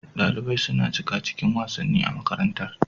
Dalibai suna shiga cikin wasanni a makarantar.